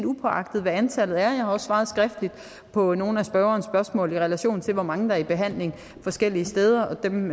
uagtet hvad antallet er jeg har også svaret skriftligt på nogle af spørgerens spørgsmål i relation til hvor mange der er i behandling forskellige steder og dem